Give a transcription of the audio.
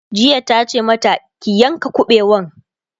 jiya tace mata "ki yanka kabewan!'